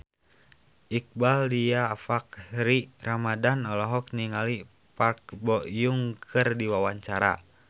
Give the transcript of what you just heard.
Iqbaal Dhiafakhri Ramadhan olohok ningali Park Bo Yung keur diwawancara